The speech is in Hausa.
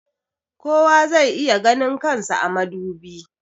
kowa zai iya ganin kan sa a madubi